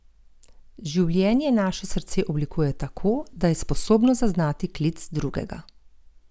Življenje naše srce oblikuje tako, da je sposobno zaznati klic drugega.